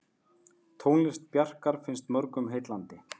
Tónlist Bjarkar finnst mörgum heillandi.